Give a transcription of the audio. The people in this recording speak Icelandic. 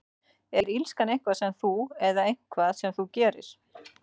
Er illska eitthvað sem þú ert, eða eitthvað sem þú gerir?